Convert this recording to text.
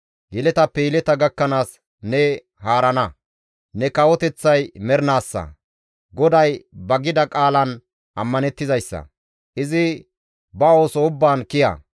Yeletappe yeleta gakkanaas ne haarana; ne kawoteththay mernaassa. GODAY ba gida qaalan ammanettizayssa; izi ba ooso ubbaan kiya.